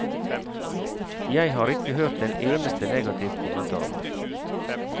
Jeg har ikke hørt en eneste negativ kommentar.